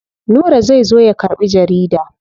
Nura zai zo ya karɓi jarida.